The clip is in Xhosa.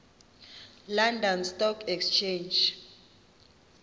london stock exchange